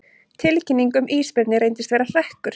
Tilkynning um ísbirni reyndist vera hrekkur